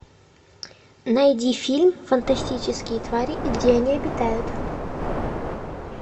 найди фильм фантастические твари и где они обитают